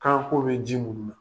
Kaako bɛ ji munu na